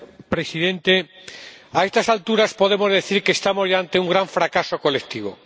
Señor Presidente, a estas alturas podemos decir que estamos ya ante un gran fracaso colectivo.